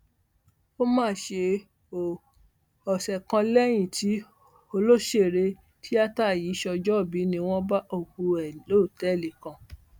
ó mà ṣe o ọsẹ kan lẹyìn tí òṣèré tíátà yìí ṣọjọọbí ni wọn bá òkú ẹ lọtẹẹlì kan